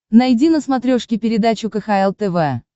найди на смотрешке передачу кхл тв